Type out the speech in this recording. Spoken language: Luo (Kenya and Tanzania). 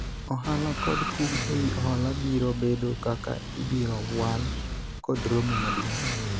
ohala kod kum ewi hola biro bedo kaka ibiro wal kod romo maduong'